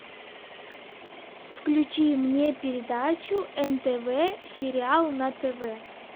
включи мне передачу нтв сериал на тв